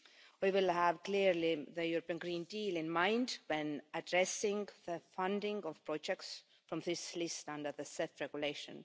We will have, clearly, the European Green Deal in mind when addressing the funding of projects from this list and other self regulation.